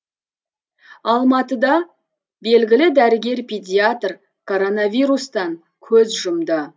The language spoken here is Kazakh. алматыда белгілі дәрігер педиатр коронавирустан көз жұмды